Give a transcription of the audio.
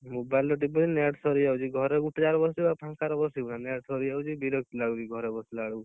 Mobile ତ ଟିପୁଛି net ସରିଯାଉଛି ଘରେ ଗୋଟେ ଜାଗାରେ ବସିବୁ ଆଉ ଫାଙ୍କ ରେ ବସିବୁନା net ସରିଯାଉଛି ବିରକ୍ତି ଲାଗୁଛି ଘରେ ବସିଲା ବେଳକୁ